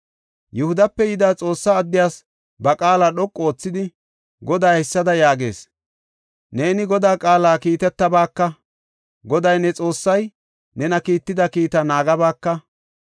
Yihudape yida Xoossa addiyas ba qaala dhoqu oothidi, “Goday haysada yaagees; ‘Neeni Godaa qaala kiitetabaaka; Goday ne Xoossay nena kiitida kiitaa naagabaaka.